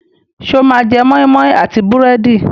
Ṣé o máa jẹ moi moi àti búrẹ́dì?